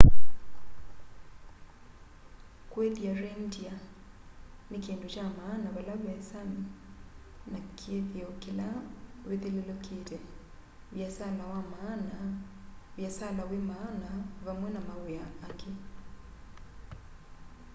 kuithya reindeer ni kindu kya maana vala ve sami na kithio kila withululukite viasala wi maana vamwe na mawia angi